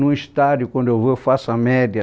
Num estádio, quando eu vou, eu faço a média.